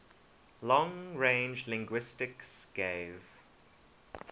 long range linguistics gave